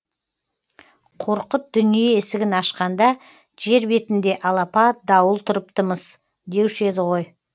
қорқыт дүние есігін ашқанда жер бетінде алапат дауыл тұрыпты мыс деуші еді ғой